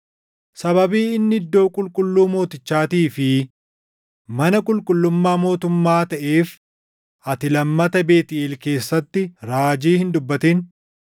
Sababii inni iddoo qulqulluu mootichaatii fi mana qulqullummaa mootummaa taʼeef ati lammata Beetʼeel keessatti raajii hin dubbatin.”